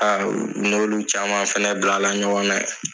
u n'olu fana caman bilala ɲɔgɔna yen.